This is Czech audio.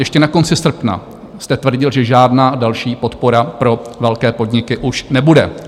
Ještě na konci srpna jste tvrdil, že žádná další podpora pro velké podniky už nebude.